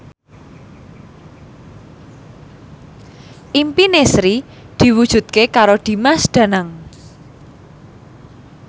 impine Sri diwujudke karo Dimas Danang